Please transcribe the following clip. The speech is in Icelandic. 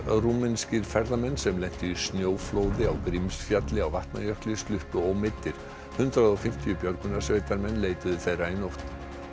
rúmenskir ferðamenn sem lentu í snjóflóði á Grímsfjalli á Vatnajökli sluppu ómeiddir hundrað og fimmtíu björgunarsveitarmenn leituðu þeirra í nótt